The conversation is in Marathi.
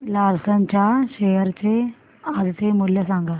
लार्सन च्या शेअर चे आजचे मूल्य सांगा